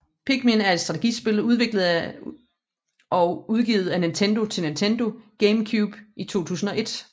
Pikmin er et strategispil udviklet og udgivet af Nintendo til Nintendo GameCube i 2001